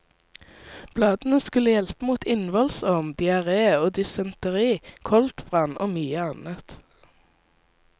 Bladene skulle hjelpe mot innvollsorm, diaré og dysenteri, koldbrann og mye annet.